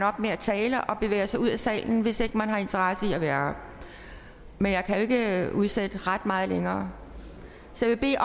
op med at tale og bevæger sig ud af salen hvis man ikke har interesse i at være her men jeg kan jo ikke udsætte det ret meget længere så jeg vil